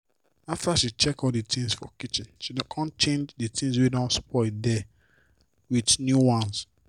after she check all d things for kitchen she con change d tins wey don spoil der with new ones.